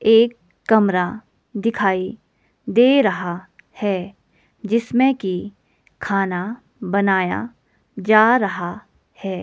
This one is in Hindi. एक कमरा दिखाई दे रहा है जिसमें की खाना बनाया जा रहा है।